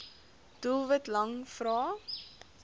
doelwit lang vrae